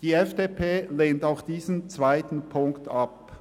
Die FDP lehnt auch diese Ziffer ab.